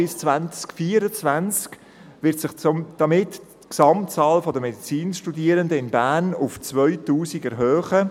Bis 2024 wird sich somit die Gesamtzahl der Medizinstudierenden in Bern auf 2000 erhöhen.